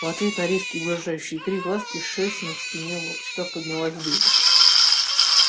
в ответ на резкий угрожающий крик ласки шерсть на спине у волчка поднялась дыбом